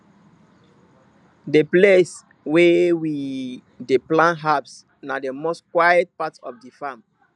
the place wey we we dey plant herbs na the most quiet part of the farm